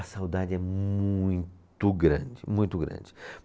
A saudade é muito grande, muito grande.